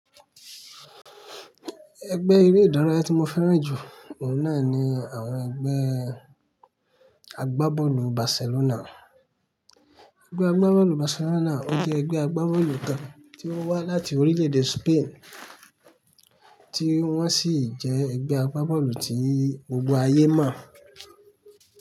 Ẹgbẹ́ eré ìdárayá tí mo fẹ́ràn jù, òun náà ni àwọn ẹgbẹ́ àgbábọ́ọ̀lù Barcelona. Ẹgbẹ́ àgbábọ́ọ̀lù Barcelona, ó jẹ́ ẹgbẹ́ àgbábọ́ọ̀lù kan tí ó wá láti orílẹ̀-èdè Spain, tí wọ́n sì jẹ́ ẹgbẹ́ àgbábọ́ọ̀lù tí gbogbo ayé mọ̀